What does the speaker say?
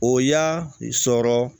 O y'a sɔrɔ